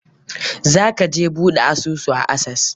Za ka je ka buɗe asusu a Access?